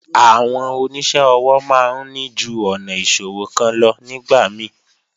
Àwọn oníṣẹ́ ọwọ́ máa ń ní ju ọ̀nà ìṣòwò kan lọ nígbà mí